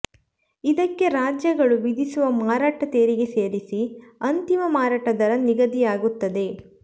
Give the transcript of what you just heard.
ಇದಕ್ಕೆ ರಾಜ್ಯಗಳು ವಿಧಿಸುವ ಮಾರಾಟ ತೆರಿಗೆ ಸೇರಿಸಿ ಅಂತಿಮ ಮಾರಾಟ ದರ ನಿಗದಿಯಾಗುತ್ತದೆ